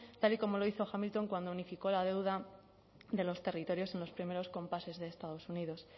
tal y como lo hizo hamilton cuando unificó la deuda de los territorios en los primeros compases de estados unidos